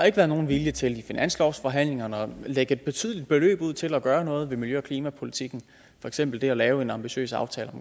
ikke været nogen vilje til i finanslovsforhandlingerne at lægge et betydeligt beløb ud til at gøre noget ved miljø og klimapolitikken for eksempel at lave en ambitiøs aftale